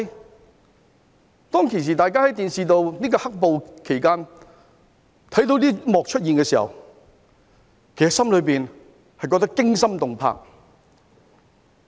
在"黑暴"期間大家在電視看到這幕出現的時候，其實心裏覺得驚心動魄。